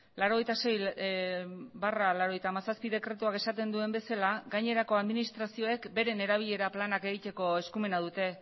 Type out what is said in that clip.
laurogeita sei barra laurogeita hamazazpi dekretuak esaten duen bezala gainerako administrazioek beren erabilera planak egiteko eskumena dute